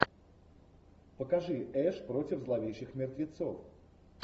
покажи эш против зловещих мертвецов